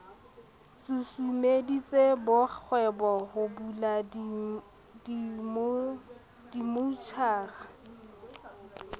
susumeditse borakgwebo ho bula dimmotjhara